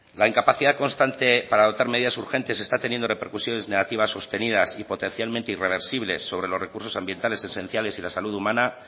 la incapacidad constante para dotar medidas urgentes está teniendo repercusiones negativas sostenidas y potencialmente irreversibles sobre los recursos ambientales esenciales y la salud humana